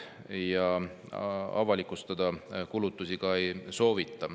Kulutusi avalikustada ka ei soovita.